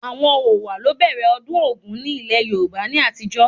Àwọn Owa ló ń bẹ̀rẹ̀ ọdún ogún ni ilẹ̀ Yorùbá ní àtijó